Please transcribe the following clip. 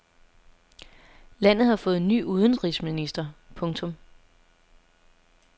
Landet har fået ny udenrigsminister. punktum